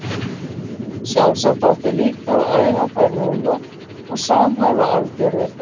Sjálfsagt átti líka að æfa þær núna og samhæfa aðgerðir þeirra.